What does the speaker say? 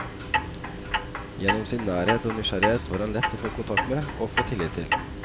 Gjennom sin nærhet og nysgjerrighet var han lett å få kontakt med og tillit til.